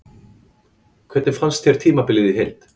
Hvernig fannst þér tímabilið í heild?